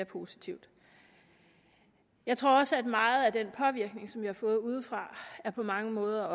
positivt jeg tror også at meget af den påvirkning som vi har fået udefra på mange måder